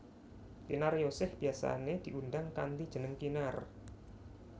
Kinaryosih biyasané diundang kanthi jeneng Kinar